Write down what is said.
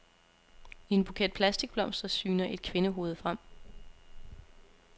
I en buket plastikblomster syner et kvindehoved frem.